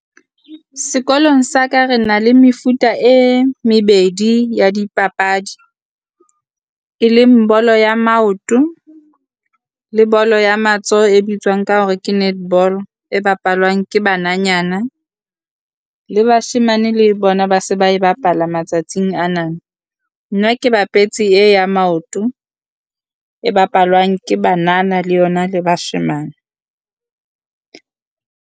Sekolong sa ka re na le mefuta e mebedi ya dipapadi, e leng bolo ya maoto le bolo ya matsoho e bitswang ka hore ke netball, e bapalwang ke bananyana. Le bashemane le bona ba se ba e bapala matsatsing ana, nna ke bapetse e ya maoto e bapalwang ke banana le yona le bashemane.